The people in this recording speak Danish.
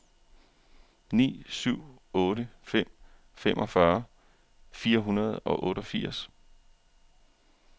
ni syv otte fem femogfyrre fire hundrede og otteogfirs